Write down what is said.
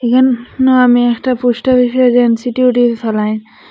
এখান নামে একটা পোস্ট অফিসের এজেন্সি ডিউটি ফেলায়।